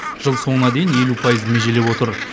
жыл соңына дейін елу пайызды межелеп отыр